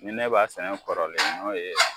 Ni ne b'a sɛnɛ kɔrɔlen n'o ye